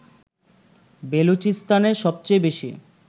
বেলুচিস্তানেই সবচেয়ে বেশি